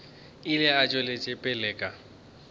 ile a tšwela pele ka